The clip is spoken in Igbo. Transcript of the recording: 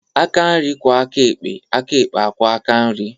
Aka nri kwọọ aka ekpe, aka ekpe akwọọ aka nri